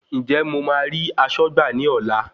Ǹjẹ́ mo ma rí aṣọ́gbà ní ọlá.